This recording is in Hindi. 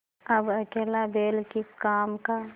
अब अकेला बैल किस काम का